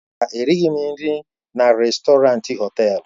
Mba, erighị m nri na rèstọrantị họtelu.